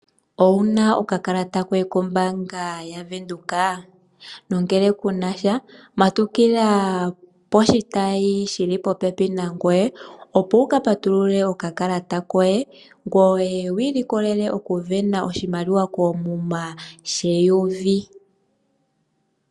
Owu na okakalata koye kombaanga yaVenduka? Nongele ku na sha, matukila poshitayi shi li popepi nangoye, opo wu ka patulule okakalata koye, ngoye wu ilikolele okusindana oshimaliwa koomuma sheyovi.